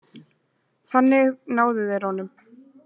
Þannig náðu þeir honum